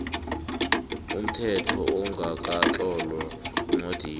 umthetho ongakatlolwa eencwadini